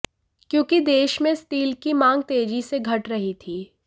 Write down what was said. क्योंकि देश में स्टील की मांग तेजी से घट रही थी